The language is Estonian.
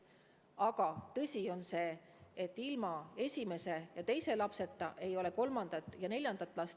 Aga tõsi on ka see, et ilma esimese ja teise lapseta ei ole kolmandat ja neljandat last.